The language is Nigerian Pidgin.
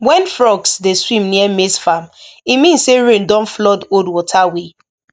when frogs dey swim near maize farm e mean say rain don flood old water way